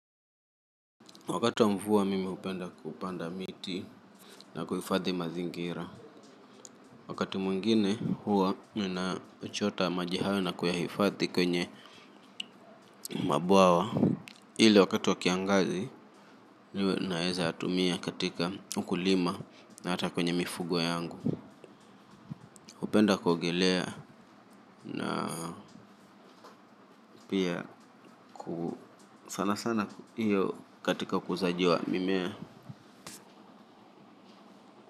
Wakati wa mvua mimi hupenda kupanda miti na kuhifadhi mazingira. Wakati mwingine huwa nina chota maji hao na kuyahifadhi kwenye mabwawa. Ile wakati wa kiangazi niwe naweza natumia katika ukulima na hata kwenye mifugo yangu. Hupenda kuogelea na pia sana sana hiyo katika ukuzaji wa mimea.